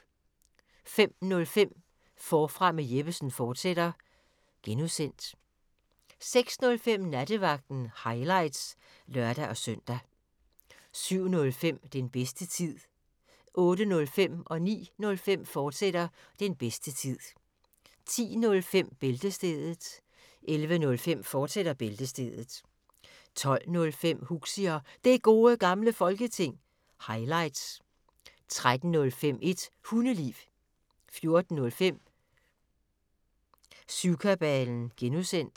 05:05: Forfra med Jeppesen fortsat (G) 06:05: Nattevagten – highlights (lør-søn) 07:05: Den bedste tid 08:05: Den bedste tid, fortsat 09:05: Den bedste tid, fortsat 10:05: Bæltestedet 11:05: Bæltestedet, fortsat 12:05: Huxi og Det Gode Gamle Folketing – highlights 13:05: Et Hundeliv 14:05: Syvkabalen (G)